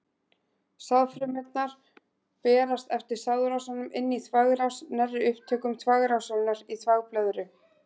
Sáðfrumurnar berast eftir sáðrásunum inn í þvagrás, nærri upptökum þvagrásarinnar í þvagblöðru.